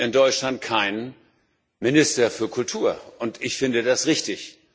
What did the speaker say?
Es gibt in Deutschland keinen Minister für Kultur, und ich finde das richtig.